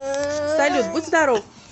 салют будь здоров